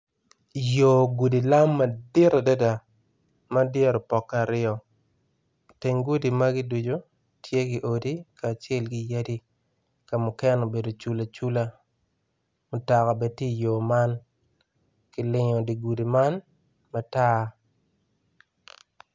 Yo gudi lam madit adada ma dyere opokke aryo iteng gudi magi ducu tye odi kacel ki yadi ka mukene obedo cula cula mutoka bene tye i yo man, kilingo di gudi magi bene matar.